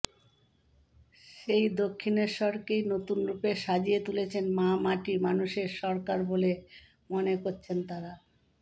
সেই দক্ষিণেশ্বরকেই নতুন রূপে সাজিয়ে তুলেছে মা মাটি মানুষের সরকার বলে মনে করছেন তাঁরা